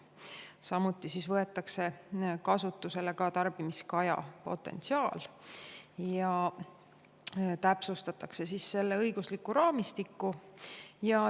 Samuti võetakse kasutusele tarbimiskaja potentsiaal ja täpsustatakse selle õiguslikku raamistikku.